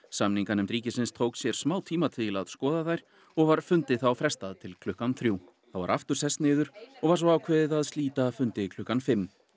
samninganefnd ríkisins tók sér smá tíma til að skoða þær og var fundi þá frestað til klukkan þrjú þá var aftur sest niður og var svo ákveðið að slíta fundi klukkan fimm